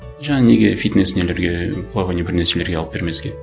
жаңа неге фитнес нелерге плавание бір нәрселерге алып бермеске